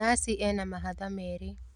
Nathi ena mahatha merĩ.